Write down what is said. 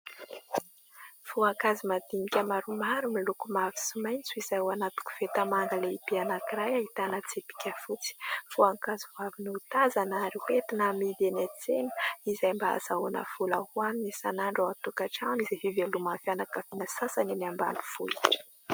Voankazo madinika maromaro miloko mavo sy maitso izay ao anaty koveta manga lehibe anankiray ahitana tsipika fotsy. Voankazo vao avy notazana ary ho entina hamidy eny an-tsena izay mba hahazahoana vola ho hanina isanandro ao an-tokantrano izay fiveloman'ny fianakaviana sasany eny ambanivohitra.